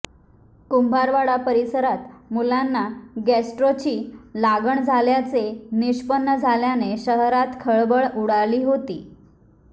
कुंभारवाडा परिसरात मुलांना गॅस्ट्रोची लागण झाल्याचे निष्पन्न झाल्याने शहरात खळबळ उडाली होती